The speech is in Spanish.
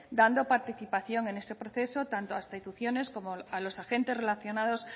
dando participación en ese proceso tanto a instituciones como a los agentes relacionados